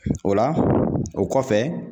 O la o kɔfɛ